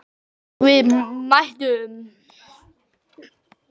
Og við mættum.